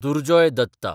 Durjoy Datta